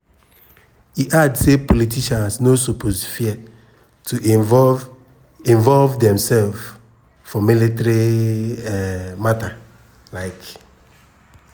e add say politicians no suppose fear to involve involve demsef for military um mata. um